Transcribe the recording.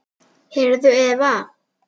Heyrðu, Eva.